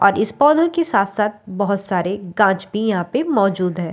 और इस पौधों के साथ साथ बहुत सारे गज भी यहाँ पे मौजूद है।